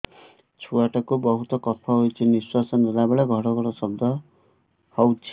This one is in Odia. ଛୁଆ ଟା କୁ ବହୁତ କଫ ହୋଇଛି ନିଶ୍ୱାସ ନେଲା ବେଳେ ଘଡ ଘଡ ଶବ୍ଦ ହଉଛି